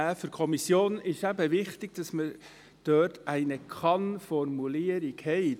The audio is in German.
Für die Kommission ist es eben wichtig, dass wir dort eine Kann-Formulierung haben.